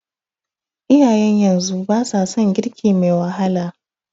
Iyayen yanzu ba sa son girki me wahala.